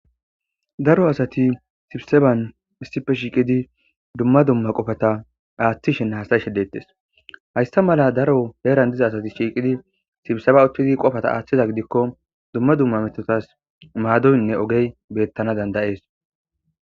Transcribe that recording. daro asati sibseban missife shiiqidi dumma dumma qofata aaththishene hastashe dettes haysta mala daro heeran diza asati shiiqidi sibseba uttidi qofata aaththiza gidikko dumma dumma metotas maadoynne ogey bettana dandayees